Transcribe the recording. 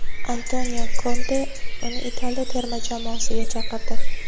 Antonio Konte uni Italiya terma jamoasiga chaqirdi.